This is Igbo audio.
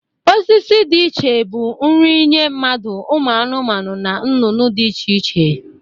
Osisi dị iche bụ nri nye mmadu, ụmụ anụmanụ na nnụnụ dị iche iche.